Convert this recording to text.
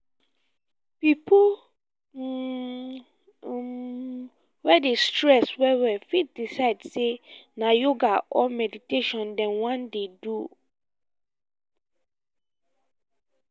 pipo um um wey dey stress well well fit decide sey na yoga or meditation dem wan dey um do